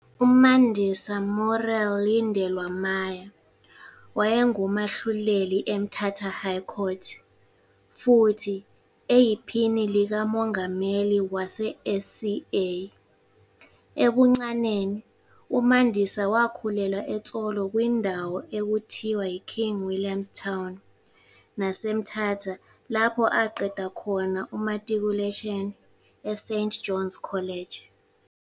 UMandisa Muriel Lindelwa Maya waye ngumahluleli eMthata High Court futhi eyiphini likamongameli wase SCA. Ebuncaneni uMandisa wakhulelwa eTsolo kwi ndawo ekuthiwa iKing Williams Town naseMthata lapho aqeda khona umatikuletsheni eSt Johns College.